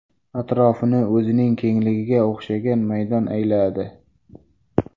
Atrofini o‘zining kengligiga o‘xshagan maydon ayladi.